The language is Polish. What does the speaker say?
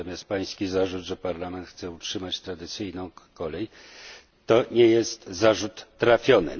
Natomiast Pański zarzut, że Parlament chce utrzymać tradycyjną kolej, nie jest trafiony.